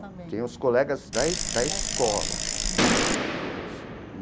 Tinham os colegas da da escola, entendeu?